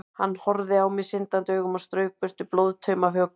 Hann horfði á mig syndandi augum og strauk burtu blóðtauma af hökunni.